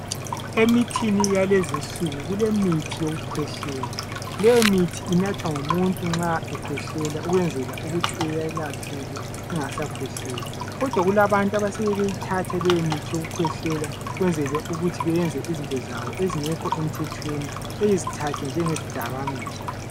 Emithini yalezinsuku kulemithi yokukhwehlela lowomuthi inathwa ngumuntu nxa ekhwehlelela ukwenzela ukuthi eyelapheke engasakhwehleli kodwa kulabantu asebeyithatha leyomithi yokukhwehlela ukwenzela ukuthi bayenze izinto zabo ezingekho emthethweni bezthathe njengezdakamizwa.